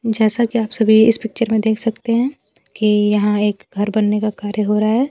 जैसा कि आप सभी इस पिक्चर में देख सकते हैं कि यहां एक घर बनने का कार्य हो रहा है।